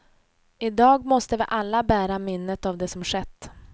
I dag måste vi alla bära minnet av det som skett.